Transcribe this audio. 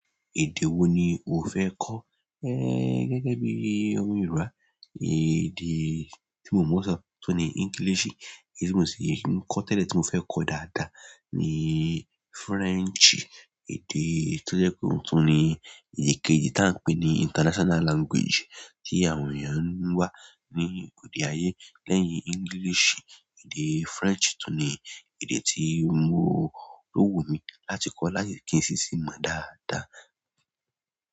Èdè wo ni o fẹ́ kọ́? É gẹ́gẹ́ bí i ọmọ Yorùbá, èdè tí mo mọ sọ̀ tu ní English. Èdè ti mo sin n ko tele, ti mo fe ko dáadáa ni frenchi. Èdè tó jẹ́ kí wọ́n sọ ní èdè kejì tí a ń pè ní international language tí àwọn èèyàn ń wá ní òde ayé lẹ́yìn English. Èdè French tò ní èdè tí mo rò wò mí láti kọ́ láyé kí n sì sì mọ̀ dáadáa.